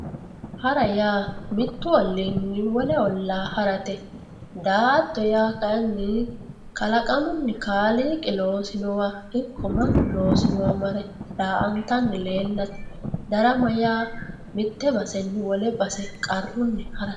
Haara yaa miyyu ollinni wolle olla haaratte daato yaa kayinni kaalaaqamunni kaaliqi loosinowa marre daantanni leelatte daaramma yaa mitye baseenni wolle basse qaarunni haaratte